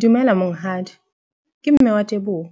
Dumela monghadi, ke mme wa Teboho.